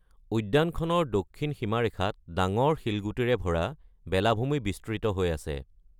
উদ্যানখনৰ দক্ষিণ সীমাৰেখাত ডাঙৰ শিলগুটিৰে ভৰা বেলাভূমি বিস্তৃত হৈ আছে।